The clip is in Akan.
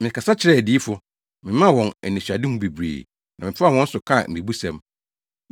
Mekasa kyerɛɛ adiyifo, memaa wɔn anisoadehu bebree na mefaa wɔn so kaa mmebusɛm.”